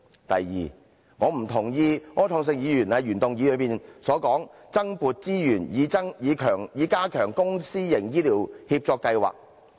第二，我不認同柯創盛議員在原議案提出，增撥資源以加強公私營醫療協作計劃。